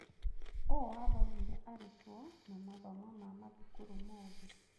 ũũ wathogire arutwo na mathomo ma mathukuru mothe.